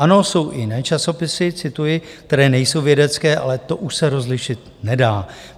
Ano, jsou i jiné časopisy, cituji, které nejsou vědecké, ale to už se rozlišit nedá.